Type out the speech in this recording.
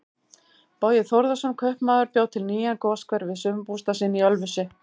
Bogi Þórðarson kaupmaður bjó til nýjan goshver við sumarbústað sinn í Ölfusi.